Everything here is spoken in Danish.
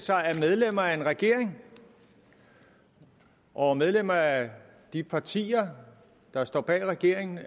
sig at medlemmer af en regering og medlemmer af de partier der står bag regeringen